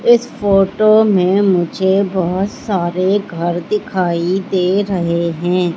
इस फोटो में मुझे बहुत सारे घर दिखाई दे रहे हैं।